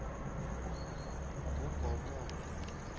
ngogomore